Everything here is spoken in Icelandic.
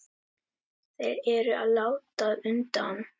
Þeir eru að láta undan.